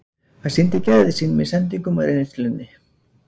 Hann sýndi gæði sín með sendingunum og reynslunni.